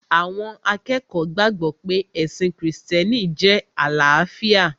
Àwọn akẹ́kọ̀ọ́ gbàgbọ̀ pé ẹ̀sìn krìstẹ́nì jẹ́ àlàáfíà